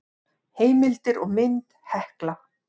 Heimildir og mynd Hekla.